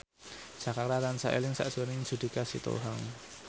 Jaka tansah eling sakjroning Judika Sitohang